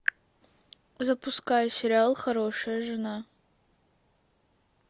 запускай сериал хорошая жена